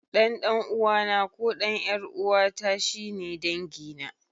Ɗan ɗan'uwana ko ɗan ƴar'uwata shi ne dangina.